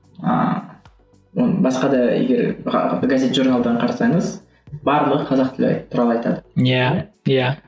ыыы оны басқа да егер газет журналдан қарасаңыз барлығы қазақ тілі туралы айтады иә иә